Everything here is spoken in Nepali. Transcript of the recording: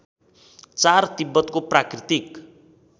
४ तिब्बतको प्राकृतिक